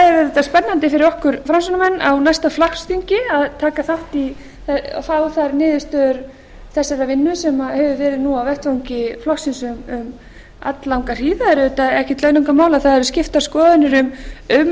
auðvitað spennandi fyrir okkur framsóknarmenn á næsta flokksþingi að taka þátt í og fá þar niðurstöður þessarar vinnu sem hefur verið nú á vettvangi flokksins um alllanga hríð það er auðvitað ekkert launungarmál að það eru skiptar skoðanir um